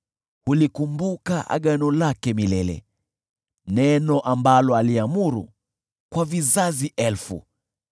Hulikumbuka agano lake milele, neno ambalo aliamuru, kwa vizazi elfu,